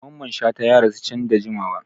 Dr Mamman Shata ya rasuwa can da jimawa.